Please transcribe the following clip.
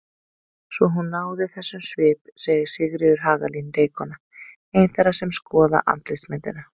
Svo hún náði þessum svip segir Sigríður Hagalín leikkona, ein þeirra sem skoða andlitsmyndina.